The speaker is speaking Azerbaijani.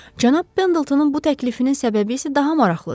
Cənab Pendletonun bu təklifinin səbəbi isə daha maraqlıdır.